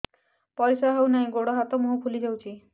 ପରିସ୍ରା ହଉ ନାହିଁ ଗୋଡ଼ ହାତ ମୁହଁ ଫୁଲି ଯାଉଛି